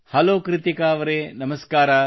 hello Krittika ಅವರೆ ನಮಸ್ಕಾರ